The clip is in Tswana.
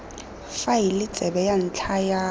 faele tsebe ya ntlha ya